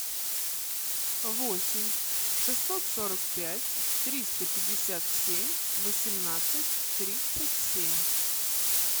восемь шестьсот сорок пять триста пятьдесят семь восемнадцать тридцать семь